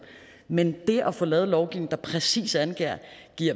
men det at få lavet en lovgivning der præcis angiver